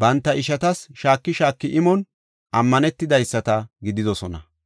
banta ishatas shaaki shaaki imon ammanetidaysata gididosona.